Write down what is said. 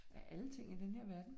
Af alle ting i denne her verden